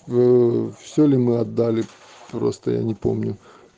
вы всё ли мы отдали просто я не помню